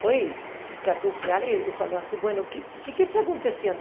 Foi e e catou a cara e falou assim, bom, o que o que é que está acontecendo?